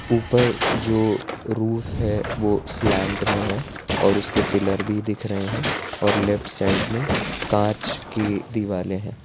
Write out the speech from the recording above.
ऊपर जो रूफ है वो स्लैन्ट में है और उसके पिल्लर भी दिख रहे हैं और लेफ्ट साइड में कांच की दीवारें हैं।